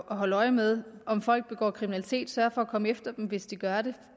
holde øje med om folk begår kriminalitet sørge for at komme efter dem hvis de gør det